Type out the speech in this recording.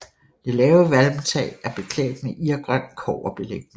Det lave valmtag er beklædt med irgrøn kobberbelægning